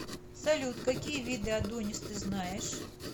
салют какие виды адонис ты знаешь